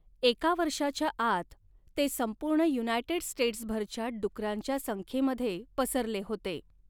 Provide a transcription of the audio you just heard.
एका वर्षाच्या आत, ते संपूर्ण युनायटेड स्टेट्सभरच्या डुकरांच्या संख्येमध्ये पसरले होते.